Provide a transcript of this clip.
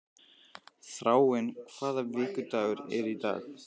Þráinn, hvaða vikudagur er í dag?